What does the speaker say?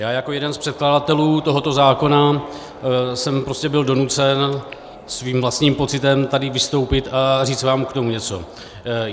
Já jako jeden z předkladatelů tohoto zákona jsem prostě byl donucen svým vlastním pocitem tady vystoupit a říct vám k tomu něco.